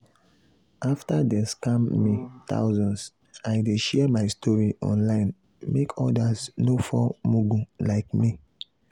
after dem scam me thousands i dey share my story online make others no fall mugu like me.